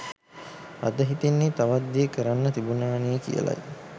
අද හිතෙන්නෙ තවත් දේ කරන්න තිබුණානෙ කියලයි